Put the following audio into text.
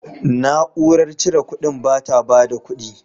Na'urar cire kuɗin ba ta bada kudi.